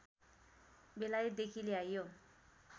बेलायतदेखि ल्याइयो